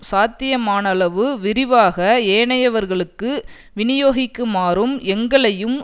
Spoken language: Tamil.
சாத்தியமானளவு விரிவாக ஏனையவர்களுக்கு விநியோகிக்குமாறும் எங்களையும்